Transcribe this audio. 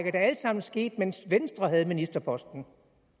er da alt sammen sket mens venstre havde ministerposten